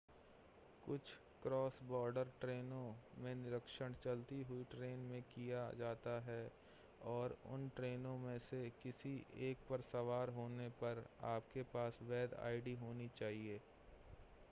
कुछ क्रॉस-बॉर्डर ट्रेनों में निरीक्षण चलती हुई ट्रेन में किया जाता है और उन ट्रेनों में से किसी एक पर सवार होने पर आपके पास वैध आईडी होनी चाहिए